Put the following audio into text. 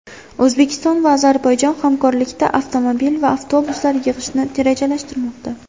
O‘zbekiston va Ozarbayjon hamkorlikda avtomobil va avtobuslar yig‘ishni rejalashtirmoqda.